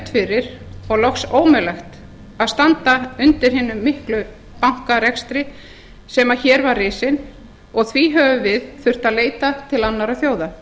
fyrir og loks ómögulegt að standa undir hinum mikla bankarekstri sem hér var risið og því þurftum við að leita til annarra þjóða